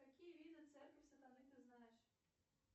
какие виды церковь сатаны ты знаешь